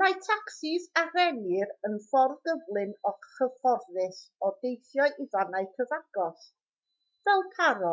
mae tacsis a rennir yn ffordd gyflym a chyfforddus o deithio i fannau cyfagos fel paro